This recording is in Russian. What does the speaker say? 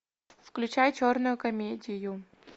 включай черную комедию